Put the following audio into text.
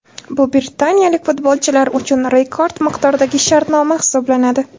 Bu britaniyalik futbolchilar uchun rekord miqdordagi shartnoma hisoblanadi.